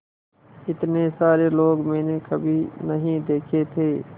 इतने सारे लोग मैंने कभी नहीं देखे थे